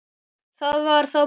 Það var þá bara